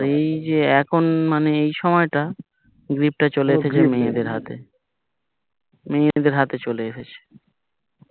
আর এইযে এই সময় টা গ্রিপ টা চলে এসেছে মেয়েদের হাতে মেয়েদের হাতে চলে এসেছে